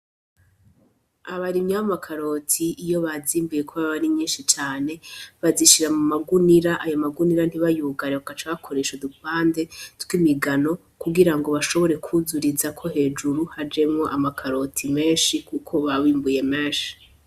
Abarimyi b'amakaroti iyo bazimbuye kuko aba ari nyinshi cane bazishira mu magunira , ayo magunira ntibayugare bagaca bakoresha udupande . Kugira ngo bashobore kwuzurizako hejuru hajemwo amakaroti menshi kuko baba bimbuye menshi.